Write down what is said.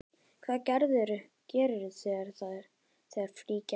Hvað gerirðu þegar frí gefst?